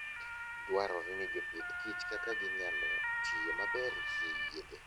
Dwarore ni jopith kich kaka ginyalo tiyo maber gi yedhe.